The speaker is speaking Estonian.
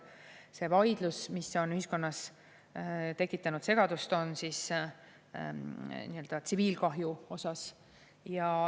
See vaidlus, mis on ühiskonnas tekitanud segadust, on tsiviilkahju üle.